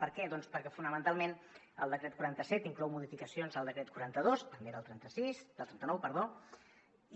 per què doncs perquè fonamentalment el decret quaranta set inclou modificacions al decret quaranta dos també del trenta nou